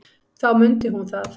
Þá mundi hún það.